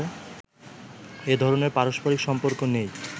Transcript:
এ ধরনের পারস্পরিক সম্পর্ক নেই